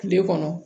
Kile kɔnɔ